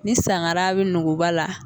Ni sangara bɛ nuguba la